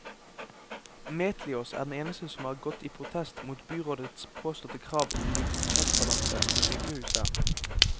Metliaas er den eneste som har gått i protest mot byrådets påståtte krav om budsjettbalanse på sykehuset.